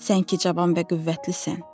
Sən ki cavan və qüvvətlisən.